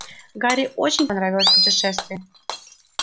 гарри очень понравилось путешествие